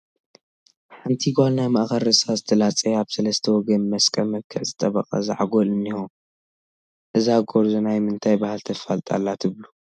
ሓንቲ ጓል ናይ ማእኸል ርእሳ ዝተላፀየ፣ ኣብ ሰለስተ ወገን ብመስቀል መልክዕ ዝጠበቐ ዛዕጎል እኒሀ፡፡ እዛ ጎርዞ ናይ ምንታይ ባህሊ ተፋልጥ ኣላ ትብሉ?